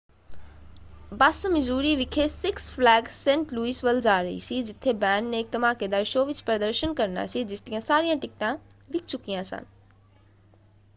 ਬੱਸ Missouri ਵਿਖੇ Six Flags Saint Louis ਵੱਲ ਜਾ ਰਹੀ ਸੀ ਜਿੱਥੇ ਬੈਂਡ ਨੇ ਇੱਕ ਧਮਾਕੇਦਾਰ ਸ਼ੋਅ ਵਿੱਚ ਪ੍ਰਦਰਸ਼ਨ ਕਰਨਾ ਸੀ ਜਿਸਦੀਆਂ ਸਾਰੀਆਂ ਟਿਕਟਾਂ ਵਿੱਕ ਚੁਕੀਆਂ ਸਨ।